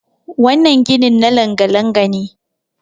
wannan ginin na langa- langa- ne